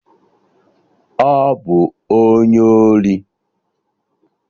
Ọ bụ onye ori!